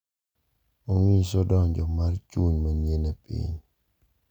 Onyiso donjo mar chuny manyien e piny.